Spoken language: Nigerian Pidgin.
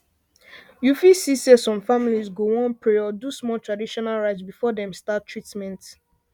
you fit see say some families go wan pray or do small traditional rites before dem start treatment